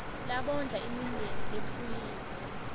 labondla imindeni lephuyile